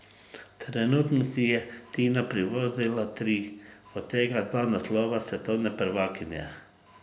Trenutno si je Tina privozila tri, od tega dva naslova svetovne prvakinje.